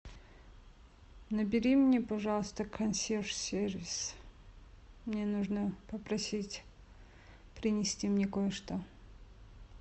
набери мне пожалуйста консьерж сервис мне нужно попросить принести мне кое что